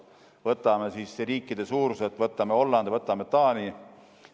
Võtame riikide suuruse järgi, võtame Hollandi või Taani.